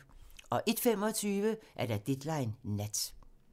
01:25: Deadline Nat